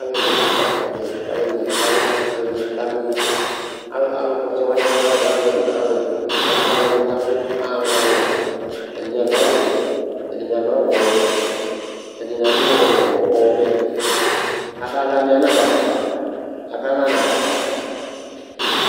Alʋɛdɩnɩ kakpɔ ɔtsɛ kʋ alʋɛdɩnɩ bɩ kala kʋ alʋɛdɩnɩ bɩ kadʋ ʋnɔ Al alʋkpɔ ɔtsɛ wanɩ aɣa mʋ alʋ ɛna, mʋ alʋ ɛtʋ Alʋla wanɩ bɩ abʋ Aɣa mʋ alʋ ɛwlʋ Ɛdɩnɩ adʋ awʋwɛ, ɛdɩnɩ adʋ awʋ ɔyɔmɔ Ɛdɩnɩ adʋ ɔ ɔ ɔvɛ Akala bɩ anadʋ afʋkpa Akala anatsɛ akpa la